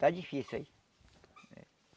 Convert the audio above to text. Está difícil aí.